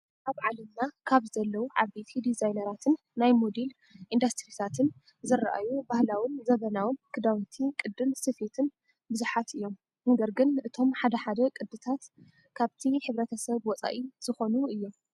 ኣብ ዓለምና ካብ ዘለው ዓበይቲ ድዛይነራትን ናይ ሞዴሊ ኢንዳስትሪታትን ዝረኣዩ ባህላውን ዘበናውን ክዳውንቲ ቅድን ስፌትን ብዙሓት እዮም። ነገር ግን እቶም ሓደ ሓደ ቅድታት ካብቲ ህብረተሰብ ውፃኢ ዝኸኑ እዮም።